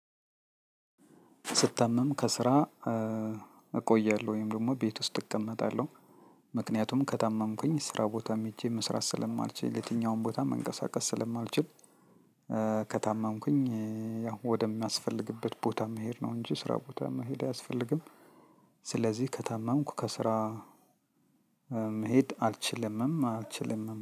ስትታመም ከስራ እቆያለሁ ወይም ደግሞ ቤት ውስጥ እቀመጣለሁ ምክንያቱም ከታመምኩኝ ስራ ቦታም ሄጄ መስራት ስለማልችል የትኛውም ቦታ መንቀሳቀስ ስለማልችል። ከታመምኩኝ ያው ወደሚያስፈልግበት ቦታ መሄድ ነው እንጂ ስራ ቦታ አያስፈልግም። ስለዚህ ከታመምኩ ከስራ መሄድ አልችልምም አልችልምም